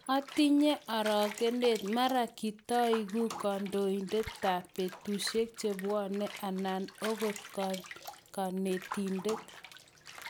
Atinye orokenet, mara kitaeku kandoindetab betusiek che bwanei anan akot kanetindet.